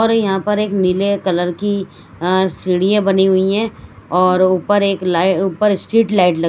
और यहां पर एक नीले कलर की सीढ़ियां बनी हुई हैं और ऊपर एक ऊपर स्ट्रीट लाइट लगी--